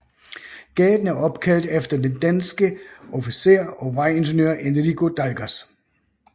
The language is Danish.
Gaden er opkaldt efter den danske officer og vejingeniør Enrico Dalgas